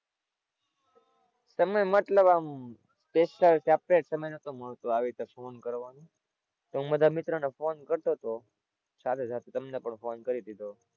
સમય મતલબ આમ special separate સમય નતો મળતો આવી રીતે ફોન કરવાનો, તો હું બધા મિત્રો ને ફોન કરતો તો સાથે સાથે તમને પણ ફોન કરી દીધો.